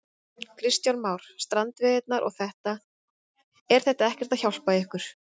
Kristján Már: Strandveiðarnar og þetta, er þetta ekkert að hjálpa ykkur?